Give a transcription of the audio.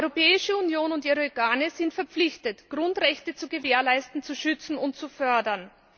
Die Europäische Union und ihre Organe sind verpflichtet, Grundrechte zu gewährleisten, zu schützen und zu fördern.